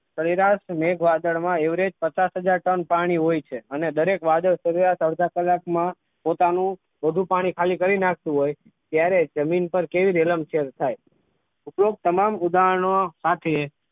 કૈલાશ મેઘ વાદળમાં એવરેજ પચાસ હાજર ટન પાણી હોય છે અને દરેક વાદળ તેના અડધો કલાકમાં પોતાનું બધું પાણી ખાલી કરી નાખતું હોય ત્યારે જમીન પર કેવી રેલમછેલ થાય ઉપરોક્ત તમામ ઉદાહરણો સાથે